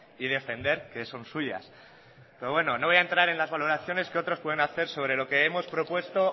y defender que son suyas pero bueno no voy a entrar en las valoraciones que otros pueden hacer sobre lo que hemos propuesto